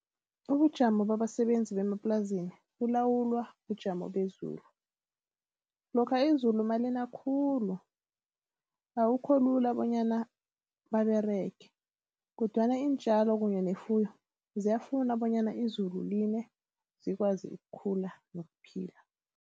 Ubujamo babasebenzi bemaplasini bulawulwa bujamo bezulu. Lokha izulu nalina khulu, akukho lula bonyana baberege kodwana iintjalo kunye nefuyo ziyafuna bonyana izulu line zikwazi ukukhula nokuphila.